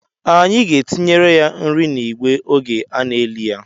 Anyị aga-etinyere ya nri n'igbe oge a na-eli ya?